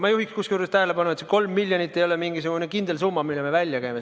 Ma juhin tähelepanu, et see 3 miljonit eurot ei ole mingisugune kindel summa, mille me välja käime.